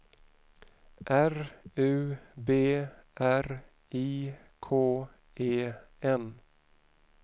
R U B R I K E N